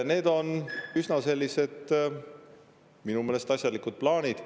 Need on minu meelest üsna asjalikud plaanid.